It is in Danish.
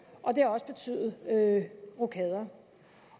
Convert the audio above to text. og det har også betydet rokader